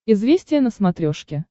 известия на смотрешке